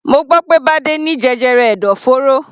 Mo gbọ́ pé Bade ní jẹjẹrẹ ẹ̀dọ̀fóró.